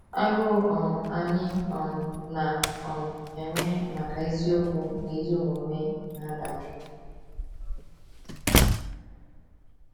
Agụụ um anyị um na um - enwe maka eziokwu na ezi omume na - adajụ.